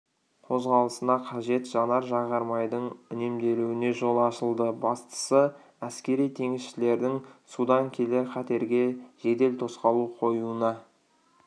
қозғалысына қажет жанар-жағармайдың үнемделуіне жол ашылды бастысы әскери теңізшілердің судан келер қатерге жедел тосқауыл қоюына